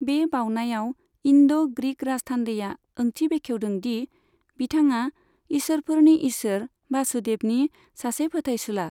बे बाउनायाव, इन्ड' ग्रीक राजथान्दैआ ओंथि बेखेवदों दि बिथाङा इसोरफोरनि इसोर, बासुदेवनि सासे फोथायसुला।